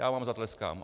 Já vám zatleskám.